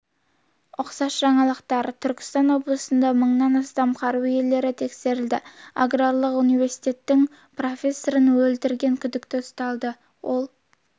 тіпті ол карточкалардағы ақшаға күн сайын пайыздық үстемақы қосылып отыратынын айтады бұған сеніп қалған азамат